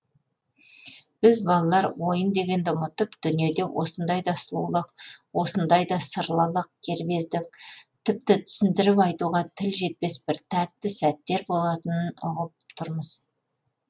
біз балалар ойын дегенді ұмытып дүниеде осындай да сұлулық осындай да сырлылық кербездік тіпті түсіндіріп айтуға тіл жетпес бір тәтті сәттер болатынын ұғып тұрмыз